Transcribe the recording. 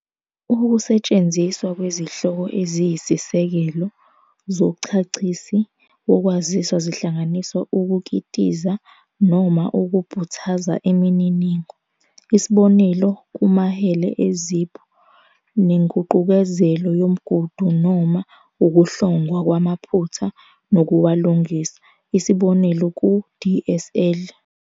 Ukusetshenziswa kwezihloko eziyisisekelo zonchachisi wokwaziswa zihlanganisa ukukitiza noma ukubhuthaza imininingo, isb. kumahele e-ZIP, nenguqukezelo yomgudu noma ukuhlongwa kwamaphutha nokuwalungisa, isb. ku-DSL.